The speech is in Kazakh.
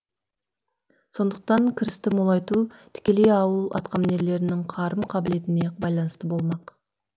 сондықтан кірісті молайту тікелей ауыл атқамінерлерінің қарым қабілетіне байналысты болмақ